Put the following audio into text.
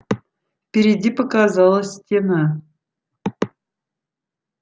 впереди показалась стена